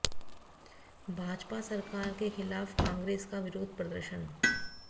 भाजपा सरकार के खिलाफ कोंग्रेस का विरोध प्रदर्शन